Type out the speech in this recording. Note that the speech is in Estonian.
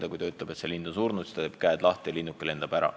Aga kui teine ütleb, et lind on surnud, siis ta teeb peo lahti ja linnuke lendab ära.